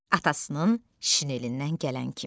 Atasının şinelindən gələn kimi.